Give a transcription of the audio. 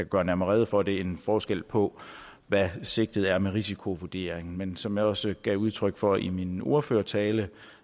gøre nærmere rede for det en forskel på hvad sigtet er med risikovurderingen men som jeg også gav udtryk for i min ordførertale